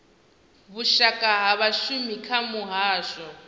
vhushaka ha vhashumi kha muhasho